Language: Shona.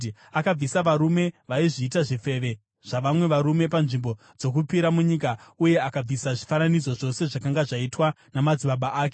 Akabvisa varume vaizviita zvifeve zvavamwe varume panzvimbo dzokupira munyika uye akabvisa zvifananidzo zvose zvakanga zvaitwa namadzibaba ake.